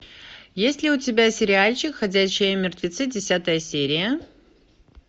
есть ли у тебя сериальчик ходячие мертвецы десятая серия